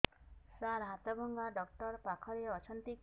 ସାର ହାଡଭଙ୍ଗା ଡକ୍ଟର ପାଖରେ ଅଛନ୍ତି କି